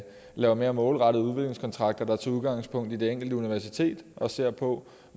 lave mere målrettede udviklingskontrakter der tager udgangspunkt i det enkelte universitet og se på